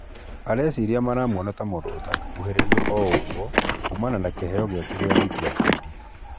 Areciria maramuona ta mũndũ atangĩkuhĩrĩrio o ũgũo kumana na kĩheo gĩake gĩa gũikia ngundi.